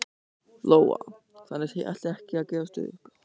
Lóa: Þannig þið ætlið ekki að gefast upp?